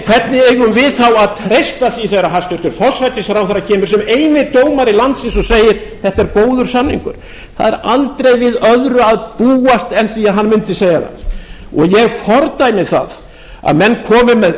hvernig eigum við þá að treysta því þegar hæstvirtur forsætisráðherra kemur sem eini dómari landsins og segir þetta er góður samningur það er aldrei við öðru en hann mundi segja það og ég fordæmi það að menn komi með